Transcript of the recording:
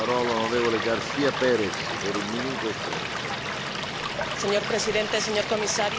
Señor Presidente, señor Comisario, todos deseamos que la crisis alimentaria alemana se cierre cuanto antes.